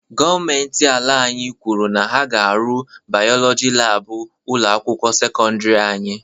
Gọọmenti ala anyị kwuru na ha ga arụ bayọlọji laabụ ụlọ akwụkwọ sekọndiri anyị